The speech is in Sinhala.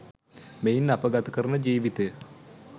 මෙයින් අප ගත කරන ජීවිතය